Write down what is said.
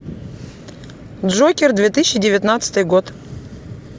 джокер две тысячи девятнадцатый год